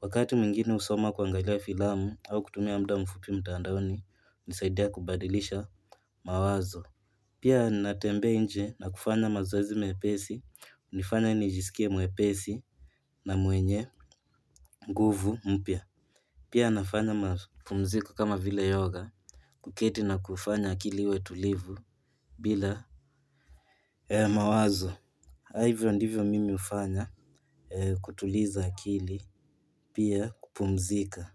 Wakati mwingine husoma kuangalia filamu au kutumia muda mfupi mtandaoni hunisaidia kubadilisha mawazo pia ninatembea nje na kufanya mazoezi mepesi hunifanya nijisikie mwepesi na mwenye nguvu mpya pia nafanya mapumzika kama vile yoga, kuketi na kufanya akili iwe tulivu bila mawazo na hivyo ndivyo mimi hufanya kutuliza akili pia kupumzika.